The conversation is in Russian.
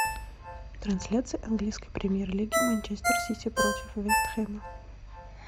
трансляция английской премьер лиги манчестер сити против вест хэма